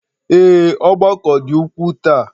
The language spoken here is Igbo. Ee, ọgbakọ dị ukwuu taa